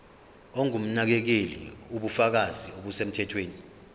ongumnakekeli ubufakazi obusemthethweni